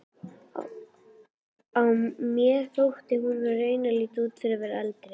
Mér þótti hún raunar líta út fyrir að vera eldri.